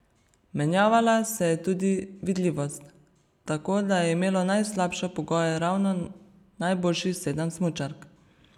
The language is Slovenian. Menjavala se je tudi vidljivost, tako da je imelo najslabše pogoje ravno najboljših sedem smučark.